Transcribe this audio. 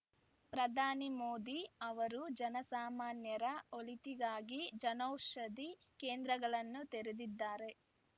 ಪ್ರಧಾನಿ ಮೋದಿ ಅವರು ಜನಸಾಮಾನ್ಯರ ಒಳಿತಿಗಾಗಿ ಜನೌಷಧಿ ಕೇಂದ್ರಗಳನ್ನು ತೆರೆದಿದ್ದಾರೆ